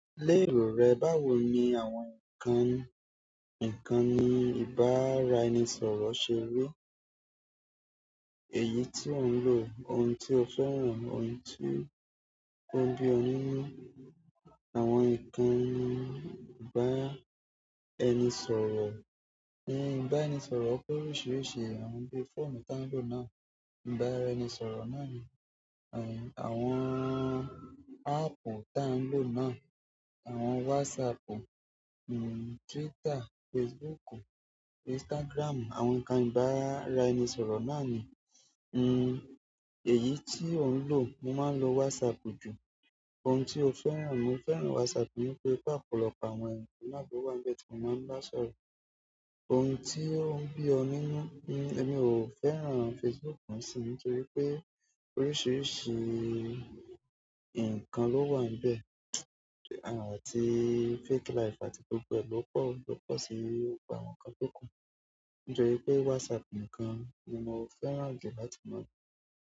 Lérò rẹ, báwo ni àwọn nǹkan, nǹkan ní ìbáraẹnisọ̀rọ̀ ṣe rí? Èyí tí ò ń lò, ohun tí o fẹ́ràn, ohun tí ò ń bí ọ nínú àwọn ìkàn ìbára ẹni sọ̀rọ̀. N ìbára ẹni sọ̀rọ̀ pé oríṣìíríṣìí àwọn bí fóònù ta ń lò náà. Ìbáraẹnisọ̀rọ̀ náà ní àwọn áàpù ta ń lò náà, àwọn WhatsApp, Twitter, Facebook, Instagram, àwọn nǹkan ìbára ẹni sọ̀rọ̀ náà ni. N, èyí tí ò ń lò, mo máa ń lo WhatsApp jù. Ohun tí o fẹ́ràn, mo fẹ́ràn WhatsApp nítorí pé ọ̀pọ̀lọpọ̀ àwọn ènìyàn tó wà níbẹ̀ tí mo máa ń bá sọ̀rọ̀. Ohun tí ó ń bí ọ nínú, ni èmi ò fẹ́ràn Facebook mọ̀ sí nítorí pé oríṣìíríṣìí nǹkan ló wà níbẹ̀ àti fake life àti gbogbo ẹ̀ lo pọ̀ ń bẹ pọ̀ sí i, ó pa àwọn kan tó kàn. Nítorí pé WhatsApp ǹikan ni mo fẹ́ràn jù láti lò.